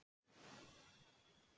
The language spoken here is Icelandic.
Það er hreint og klárt.